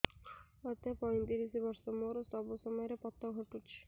ମୋତେ ପଇଂତିରିଶ ବର୍ଷ ମୋର ସବୁ ସମୟରେ ପତ ଘଟୁଛି